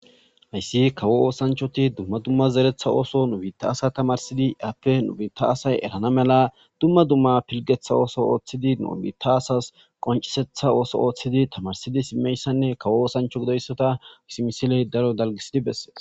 Hayssi kawo oosanchoti dumma dumma zeretha ooso nu bita asa tamarsidi aappe nu biita asay erana mela dumma dumma pilgetha ooso ooththidi nu biitta asas qoncisetha ooso ooththidi tamarsidi simmeyssanne kawo oosancho gidoyssota has misiley daro dalgisidi bessees.